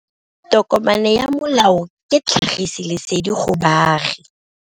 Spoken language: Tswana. Tokomane ya molao ke tlhagisi lesedi go baagi.